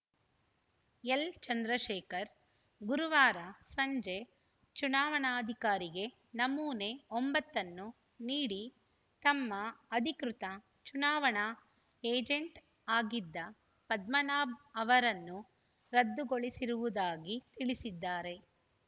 ಎಲ್‌ಚಂದ್ರಶೇಖರ್‌ ಗುರುವಾರ ಸಂಜೆ ಚುನಾವಣಾಧಿಕಾರಿಗೆ ನಮೂನೆ ಒಂಬತ್ತನ್ನು ನೀಡಿ ತಮ್ಮ ಅಧಿಕೃತ ಚುನಾವಣಾ ಏಜೆಂಟ್‌ ಆಗಿದ್ದ ಪದ್ಮನಾಭ್‌ ಅವರನ್ನು ರದ್ದುಗೊಳಿಸಿರುವುದಾಗಿ ತಿಳಿಸಿದ್ದಾರೆ